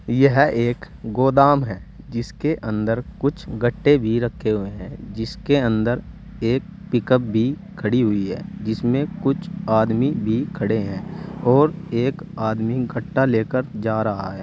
यह एक गोदाम है जिसके अन्दर कुछ गट्टे भी रखे हुए हैं जिसके अंदर एक पिकअप भी खड़ी है जिसमे कुछ आदमी भी खड़े हैं और एक आदमी गट्टा लेकर जा रहा है।